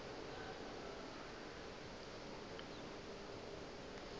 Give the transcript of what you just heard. ka ge ba be ba